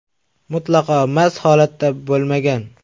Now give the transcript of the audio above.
mutlaqo mast holatda bo‘lmagan.